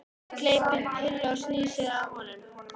Gleypir pillu og snýr sér að honum.